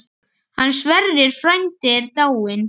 Hann Sverrir frændi er dáinn.